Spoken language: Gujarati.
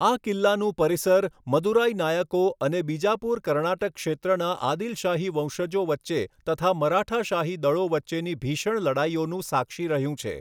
આ કિલ્લાનું પરિસર મદુરાઈ નાયકો અને બીજાપુર કર્ણાટક ક્ષેત્રના આદિલ શાહી વંશજો વચ્ચે તથા મરાઠા શાહી દળો વચ્ચેની ભીષણ લડાઇઓનો સાક્ષી રહ્યું છે.